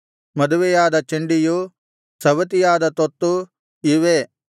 ಮದುವೆಯಾದ ಚಂಡಿಯು ಸವತಿಯಾದ ತೊತ್ತು ಇವೇ